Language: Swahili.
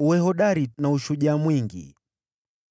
Uwe hodari na uwe na ushujaa mwingi.